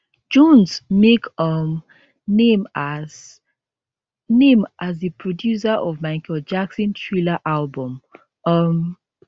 jones make um name as name as di producer of michael jackson thriller album um